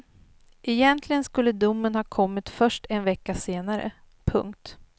Egentligen skulle domen ha kommit först en vecka senare. punkt